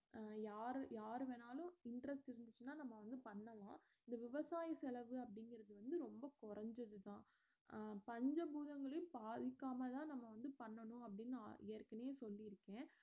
அஹ் யாரு யாரு வேணாலும் interest இருந்துச்சுன்னா நம்ம வந்து பண்ணலாம் இந்த விவசாய செலவு அப்புடிங்கறது வந்து ரொம்ப குறைஞ்சதுதான் அஹ் பஞ்ச பூதங்களையும் பாதிக்கமா தான் பண்ணனும் அப்படினு அ~ ஏற்கனவே சொல்லிருக்கேன்